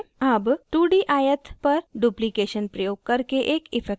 अब 2d आयत पर duplication प्रयोग करके एक इफ़ेक्ट बनाते हैं